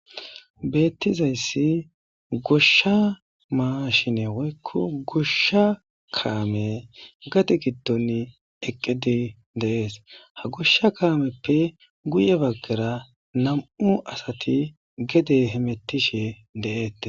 beettizayssi goshsha maashine woykko goshsha kaame gati giddonni eqqedi deees ha goshsha kaameppe guye baggara nam7u asati gede hemettishe deeette